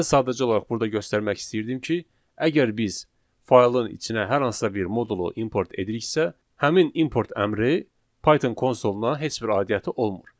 Mən sadəcə olaraq burda göstərmək istəyirdim ki, əgər biz faylın içinə hər hansısa bir modulu import ediriksə, həmin import əmri Python konsuluna heç bir aidiyyatı olmur.